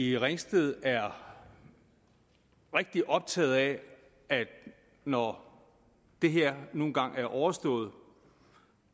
i ringsted er rigtig optaget af at når det her nu engang er overstået